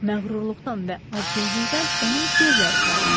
Məğrurluqdan və acgözlükdən onun gözləri parıldayırdı.